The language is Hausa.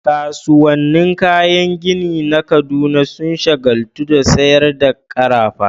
Kasuwannin kayan gini na Kaduna sun shagaltu da sayar da karafa